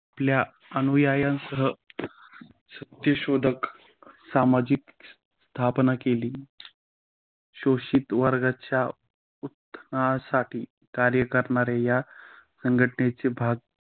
आपल्या अनुयायांस सत्यशोधक समाजाची स्थापना केली. शोषित वर्गाच्या अह उत्थानासाठी कार्य करणाऱ्या या संघटनेचे भाग